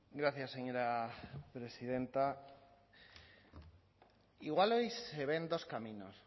gracias señora presidenta igual ahí se ven dos caminos